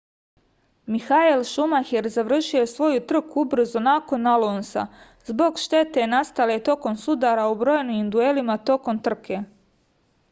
mihael šumaher završio je svoju trku ubrzo nakon alonsa zbog štete nastale tokom sudara u brojnim duelima tokom trke